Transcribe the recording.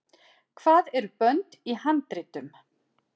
hvað eru bönd í handritum